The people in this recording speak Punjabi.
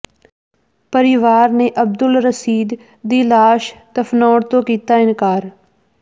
ਪਰਿਵਾਰ ਨੇ ਅਬਦੁਲ ਰਸ਼ੀਦ ਦੀ ਲਾਸ਼ ਦਫਨਾਉਣ ਤੋਂ ਕੀਤਾ ਇਨਕਾਰ